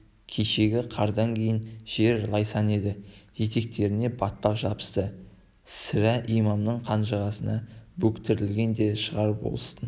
кешегі қардан кейін жер лайсаң еді етектеріне батпақ жабысты сірә имамның қанжығасына бөктерілген де шығар болыстың